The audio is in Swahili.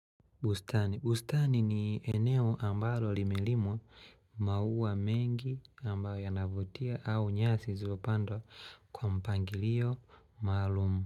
Bustani ni eneo ambalo limelimwa maua mengi ambayo yanavutia au nyasi zilopandwa kwa mpangilio maalumu.